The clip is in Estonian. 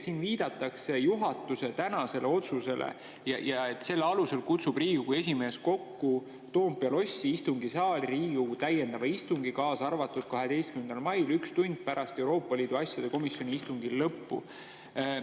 Siin viidatakse juhatuse tänasele otsusele, et selle alusel kutsub Riigikogu esimees kokku Toompea lossi istungisaali Riigikogu täiendava istungi 12. mail üks tund pärast Euroopa Liidu asjade komisjoni istungi lõppu.